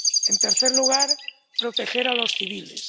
En tercer lugar, proteger a los civiles.